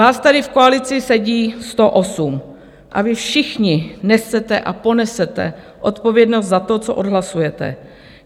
Vás tady v koalici sedí 108 a vy všichni nesete a ponesete odpovědnost za to, co odhlasujete.